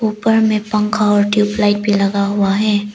ऊपर में पंखा और ट्यूबलाइट भी लगा हुआ है।